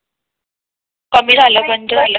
कमी झालं बंद झालं ही पण मग बाकी काही नाही.